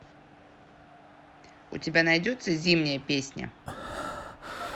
у тебя найдется зимняя песня